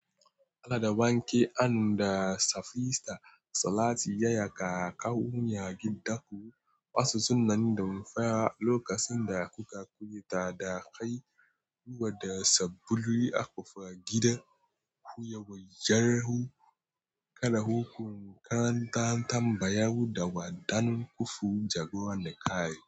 Allah da banke, an da safista, salati yaya kaka wuya gida ku. Wasu sunan damfa lokacin da kuka koyi fita da kai, ruwa da sabulu akwa gida ku yawayyar ku, kala hukunkunan tambaya da waɗannan kufu jagora na kai.